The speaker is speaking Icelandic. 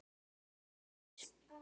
Þú varst frábær móðir.